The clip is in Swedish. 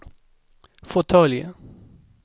fåtölj